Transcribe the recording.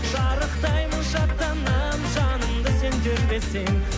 шарықтаймын шаттанамын жанымды сен тербесең